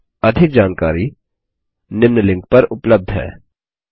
इस पर अधिक जानकारी निम्न लिंक पर उपलब्ध है